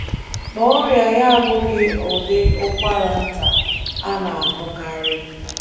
Ma ọrịa ya abụghị ụdị ụkwara nta a na - ahụkarị.